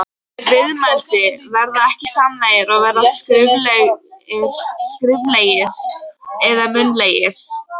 Viðmælandi: Verða ekki, samningar að vera skriflegir eða munnlegir?